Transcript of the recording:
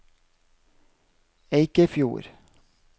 Eikefjord